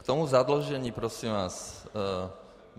K tomu zadlužení, prosím vás.